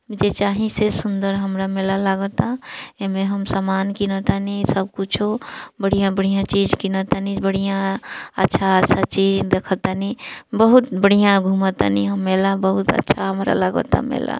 उ जे चाही से सुंदर हमरा मेला लगाता एमे हम सामान किनातानी इ सब कुछो बढ़िया-बढ़िया चीज किनातानी बढ़िया अच्छा अच्छा चीज देखतानि बहुत बढ़िया घुमतानी हम मेला बहुत अच्छा हमरा लगाता मेला।